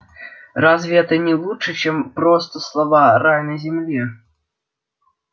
разве это не лучше чем просто слова рай на земле